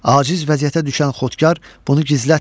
Aciz vəziyyətə düşən Xotkar bunu gizlətmir.